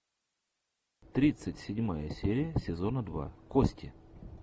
тридцать седьмая серия сезона два кости